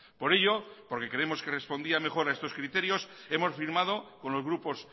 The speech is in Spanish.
por ello porque creemos que respondía mejor a estos criterios hemos firmado con los grupos